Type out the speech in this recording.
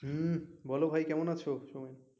হম বলো ভাই কেমন আছো?